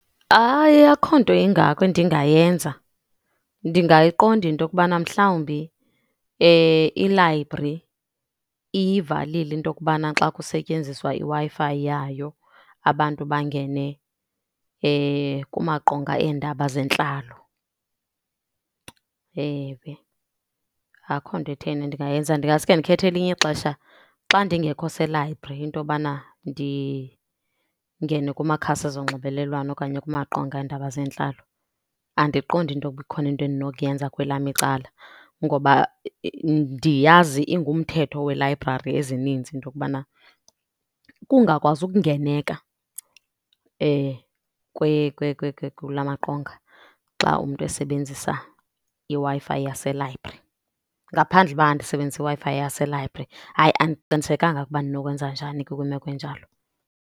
Hayi, akukho nto ingako endingayenza. Ndingayiqonda into yokubana mhlawumbi ilayibri iyivalile into yokubana xa kusetyenziswa iWi-Fi yayo abantu bangene kumaqonga eendaba zentlalo. Ewe, akho nto etheni endingayenza ndingasuke ndikhethe elinye ixesha xa ndingekho selayibri into yobana ndingene kumakhasi zonxibelelwano okanye kumaqonga eendaba zentlalo. Andiqondi into yokuba ikhona into endinokuyenza kwelam icala ngoba ndiyazi ingumthetho weelayibrari ezininzi into yokubana kungakwazi ukungeneka kula maqonga xa umntu esebenzisa iWi-Fi yaselayibri ngaphandle uba andisebenzisi iWi-Fi yaselayibri. Hayi, andiqinisekanga ukuba ndinokwenza njani kwimeko enjalo.